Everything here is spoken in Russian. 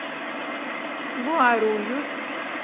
гуарульюс